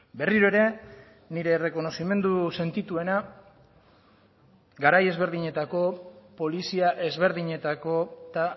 berriro ere nire errekonozimendu sentituena garai ezberdinetako polizia ezberdinetako eta